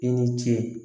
I ni ce